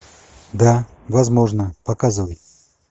да возможно показывай